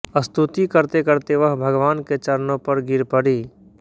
स्तुति करतेकरते वह भगवान के चरणों पर गिर पडी